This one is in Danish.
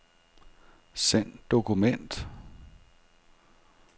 Send dokument.